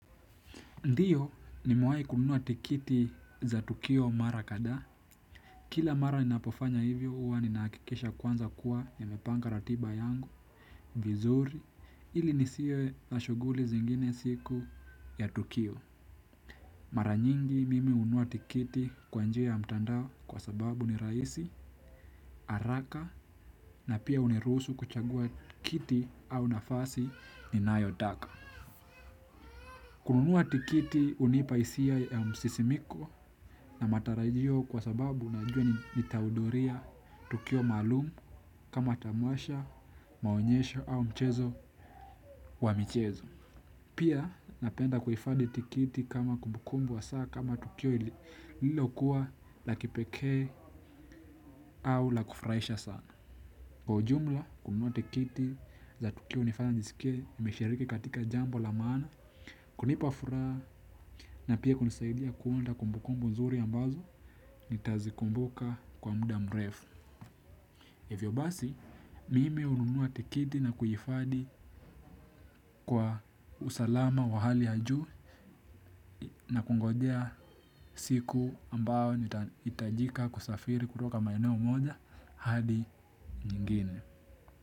Ndiyo nimewai kununua tiketi za tukio mara kadha. Kila mara ninapofanya hivyo huwa nina hakikisha kwanza kuwa nimepanga ratiba yangu, vizuri, ili nisiwe na shughuli zingine siku ya tukio. Mara nyingi mimi hununua tiketi kwa njia ya mtandao kwa sababu nirahisi, haraka na pia huniruhusu kuchagua kiti au nafasi ninayo taka. Kununuwa tiketi hunipa hisia ya msisimiko na matarajio kwa sababu unajua nitahudhuria tukio maalum kama tamasha, maonyesho au mchezo wa michezo. Pia napenda kuhifadhi tiketi kama kumbukumbu wa saa kama tukio lililo kuwa la kipekee au la kufurahisha sana. Kwa ujumla, kununua tiketi za tukio hunifanya nisikie nimeshiriki katika jambo la maana, kunipa furaha, na pia hunisaidia kuunda kumbu kumbu nzuri ambazo, nita zikumbuka kwa muda mrefu. Hivyo basi, mimi hununua tiketi na kuhifadhi kwa usalama wa hali ya juu, na kungojea siku ambao nita itajika kusafiri kutoka maeneo moja hadi nyingine.